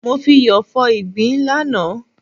Mo fi iyọ̀ fọ ìgbín lánàá.